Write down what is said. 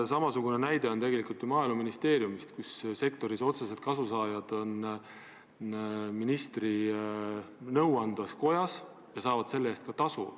Samasugune näide on ju Maaeluministeeriumist, kus sektorist otseselt kasu saavad inimesed on ministri nõuandvas kojas ja saavad selle eest ka tasu.